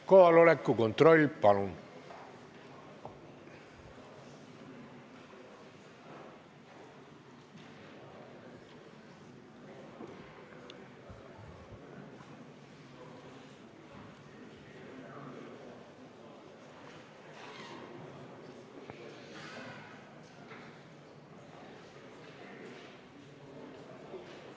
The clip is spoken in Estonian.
Kohaloleku kontroll, palun!